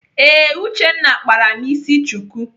Ee, Uchenna kpara m isi chuku.